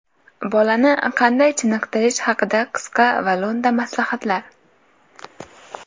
Bolani qanday chiniqtirish haqida qisqa va lo‘nda maslahatlar.